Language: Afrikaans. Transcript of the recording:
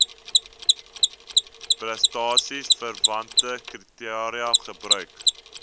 prestasieverwante kriteria gebruik